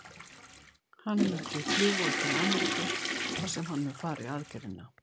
Hann mun því fljúga til Ameríku þar sem hann mun fara í aðgerðina.